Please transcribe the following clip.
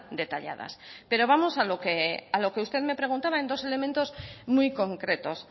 detalladas pero vamos a lo que usted me preguntaba en dos elementos muy concretos